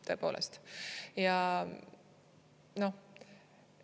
Tõepoolest!